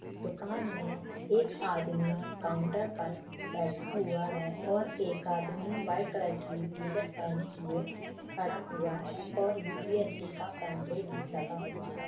दुकान मे एक आदमी काउन्टर पर बैठा हुआ है और एक आदमी व्हाइट कलर की टी-शर्ट पहने हुए खड़ा हुआ है और यू_पी_एस_सी का पाम्पलेट भी लगा हुआ है।